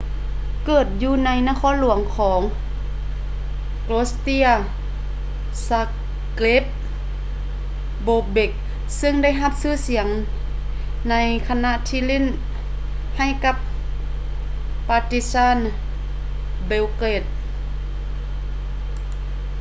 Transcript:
ເກີດຢູ່ໃນນະຄອນຫຼວງຂອງ croatia zagreb bobek ເຊິ່ງໄດ້ຮັບຊື່ສຽງໃນຂະນະທີ່ຫຼິ້ນໃຫ້ກັບ partizan belgrade